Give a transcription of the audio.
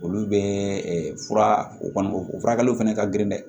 Olu bɛ fura o kɔni o furakɛliw fana ka girin dɛ